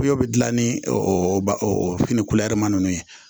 Kuyo bi gilan ni o fini ma ninnu ye